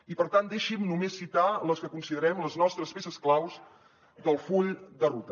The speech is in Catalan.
i per tant deixin me només citar les que considerem les nostres peces claus del full de ruta